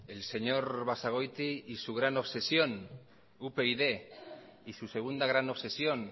el señor basagoiti y su gran obsesión upyd y su segunda gran obsesión